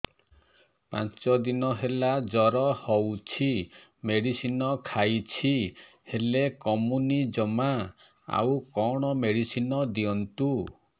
ପାଞ୍ଚ ଦିନ ହେଲା ଜର ହଉଛି ମେଡିସିନ ଖାଇଛି ହେଲେ କମୁନି ଜମା ଆଉ କଣ ମେଡ଼ିସିନ ଦିଅନ୍ତୁ